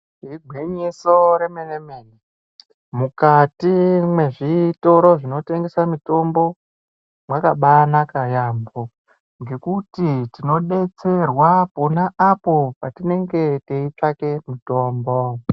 Igwinyiso remenemene, mukati mezvitoro zvinotengese mitombo mwakabaanaka yaampho ngekuti tinodetserwa pona apo patinenge teitsvake mutombo.